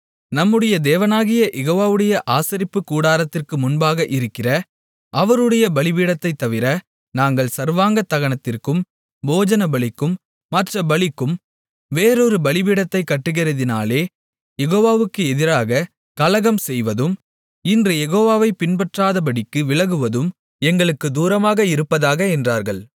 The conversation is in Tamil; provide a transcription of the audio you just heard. நம்முடைய தேவனாகிய யெகோவாவுடைய ஆசரிப்புக்கூடாரத்திற்கு முன்பாக இருக்கிற அவருடைய பலிபீடத்தைத்தவிர நாங்கள் சர்வாங்க தகனத்திற்கும் போஜனபலிக்கும் மற்றப் பலிக்கும் வேறொரு பலிபீடத்தைக் கட்டுகிறதினாலே யெகோவாவுக்கு எதிராகக் கலகம்செய்வதும் இன்று யெகோவாவைப் பின்பற்றாதபடிக்கு விலகுவதும் எங்களுக்குத் தூரமாக இருப்பதாக என்றார்கள்